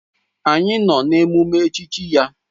Anyị nọ n'emume echichi ya.